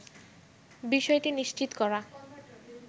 বিষয়টি নিশ্চিত করা